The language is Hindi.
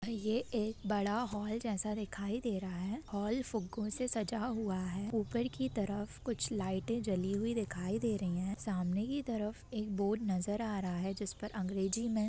ये एक बड़ा हॉल जैसा दिखाई दे रहा है हॉल फुग्गो से सजा हुआ है ऊपर की तरफ कुछ लाइट जली हुई दिखाई दे रही है सामने की तरफ एक बोर्ड नज़र आ रहा है जिसपे अंग्रेजी में --